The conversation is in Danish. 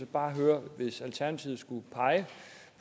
bare høre hvis alternativet skulle pege